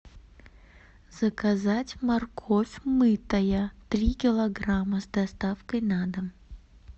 заказать морковь мытая три килограмма с доставкой на дом